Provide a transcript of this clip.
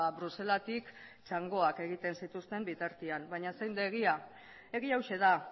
bruselatik txangoak egiten zituzten bitartean baina zein da egia egia hauxe da